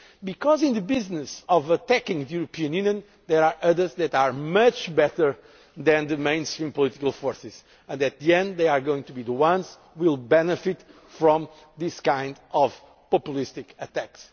Because in the business of attacking the European Union there are others that are much better than the mainstream political forces and at the end they are going to be the ones who will benefit from these kinds of populist attacks.